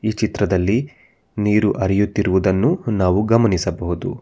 ಈ ಚಿತ್ರದಲ್ಲಿ ನೀರು ಹರಿಯುತ್ತಿರುವುದನ್ನು ನಾವು ಗಮನಿಸಬಹುದು.